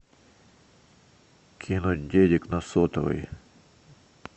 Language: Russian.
кинуть денег на сотовый